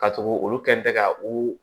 Ka tugu olu kɛ ka u